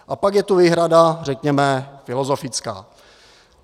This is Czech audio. A pak je tu výhrada, řekněme, filozofická.